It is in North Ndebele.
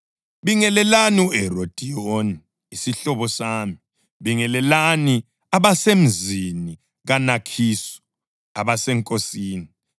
Bingelelani uHerodiyoni, isihlobo sami. Bingelelani labo abasemzini kaNakhisu abaseNkosini.